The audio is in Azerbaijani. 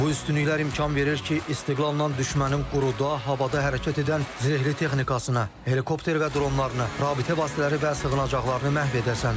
Bu üstünlüklər imkan verir ki, istiqlaldan düşmənin quruda, havada hərəkət edən zirehli texnikasını, helikopter və dronlarını, rabitə vasitələri və sığınacaqlarını məhv edəsən.